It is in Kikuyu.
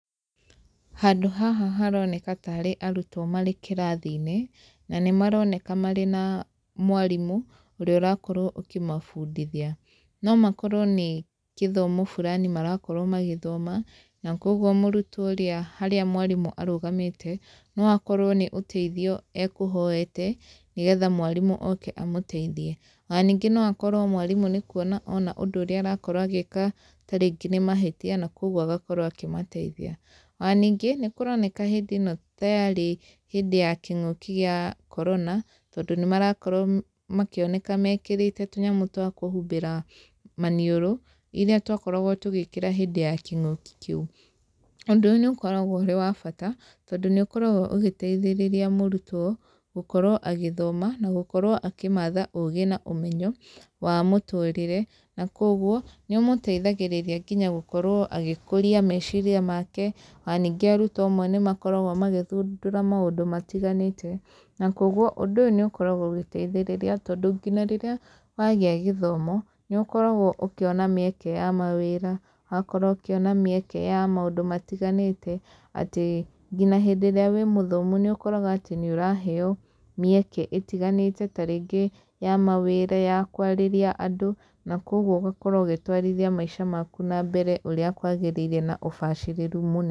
Handũ haha haroneka tarĩ arutwo marĩ kĩrathi-inĩ, na nĩ maroneka marĩ na mwarimũ, ũrĩa ũrakorwo ũkĩmabundithia. No makorwo nĩ kĩthomo fulani marakorwo magĩthoma, na kũguo mũrutwo ũrĩa harĩa mwarimũ arũgamĩte, no akorwo nĩ ũteithio ekũhoete, nĩgetha mwarimũ oke amũteithie. Ona ningĩ no akorwo mwarimũ nĩ kuona ona ũndũ ũrĩa arakorwo agĩka tarĩngĩ nĩ mahĩtia, na kũguo agakorwo akĩmateithia. Ona ningĩ, nĩ kũroneka hĩndĩ ĩno ta yarĩ hĩndĩ ya kĩng'ũki gĩa Corona, tondũ nĩ marakorwo makĩoneka mekĩrĩte tũnyamũ twa kũhumbĩra maniũrũ, irĩa twakoragwo tũgĩkĩra hĩndĩ ya kĩng'ũki kĩu. Ũndũ ũyũ nĩ ũkoragwo ũrĩ wa bata, tondũ nĩ ũkoragwo ũgĩteithĩrĩria mũrutwo, gũkorwo agĩthoma, na gũkorwo akĩmatha ũũgĩ na ũmenyo, wa mũtũrĩre. Na kũguo, nĩ ũmũteithagĩrĩria nginya gũkorwo agĩkũria meciria make, ona ningĩ arutwo amwe nĩ makoragwo magĩthundũra maũndũ matiganĩte. Na kũguo , ũndũ ũyũ nĩ ũkoragwo ũgĩteithĩrĩria, tondũ nginya rĩrĩa wagĩa gĩthomo, nĩ ũkoragwo ũkĩona mĩeka ya mawĩra, ũgakorwo ũkĩona mĩeke ya maũndũ matiganĩte, atĩ ngina hĩndĩ ĩrĩa wĩ mũthomu níĩũkoraga atĩ nĩ ũraheo mĩeke ĩtiganĩte tarĩngĩ ya mawĩra, ya kwarĩria andũ. Na kũguo ũgakorwo ũgĩtwarithia maica maku na mbere ũrĩa kwagĩrĩire na ũbacĩrĩru mũnene.